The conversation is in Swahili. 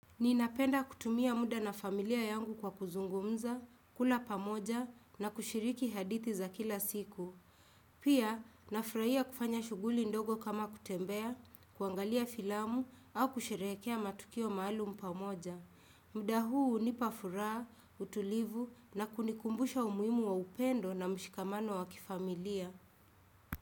Ninapenda kutumia muda na familia yangu kwa kuzungumza, kula pamoja na kushiriki hadithi za kila siku. Pia, nafurahia kufanya shuguli ndogo kama kutembea, kuangalia filamu au kushirehekea matukio maalum pamoja. Muda huu unipa furaha, utulivu na kunikumbusha umuhimu wa upendo na mshikamano wa kifamilia.